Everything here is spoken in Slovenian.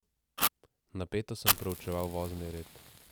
Napeto sem preučeval vozni red.